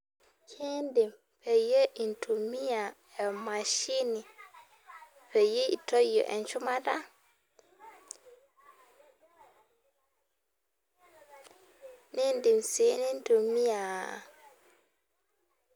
Kindim peyie intumia emashini peyie intoyio enchumata nindim si nintumia.